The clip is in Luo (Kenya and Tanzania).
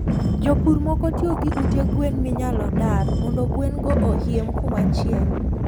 jopur moko tiyo gi ute gwen minyalodar mondo gwen go ohiem kumachielo